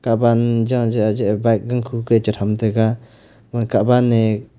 Kah wan jaan jeh bike ku khaih chai chai ga kah wan ne--